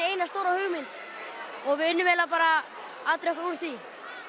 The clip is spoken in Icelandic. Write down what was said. eina stóra hugmynd og við unnum eiginlega bara atriðið okkar úr því